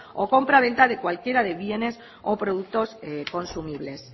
o compraventa de cualquiera de bienes o productos consumibles